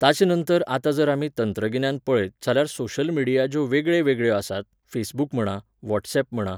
ताचेनंतर आतां जर आमी तंत्रगिन्यान पळयत, जाल्यार सोशल मिडिया ज्यो वेगळेवेगळ्यो आसात, फेसबूक म्हणा, वॉट्सॅप म्हणा